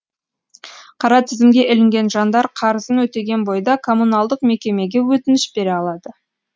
қара тізімге ілінген жандар қарызын өтеген бойда коммуналдық мекемеге өтініш бере алады